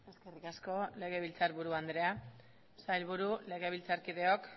eskerrik asko legebiltzar buru andrea sailburu legebiltzarkideok